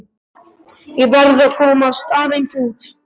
Ég verð að komast aðeins út.